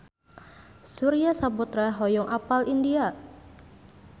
Surya Saputra hoyong apal India